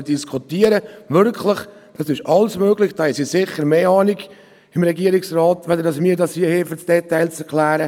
für das Erklären der Details hat der Regierungsrat mehr Ahnung als wir.